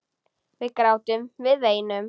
Við grátum, við veinum.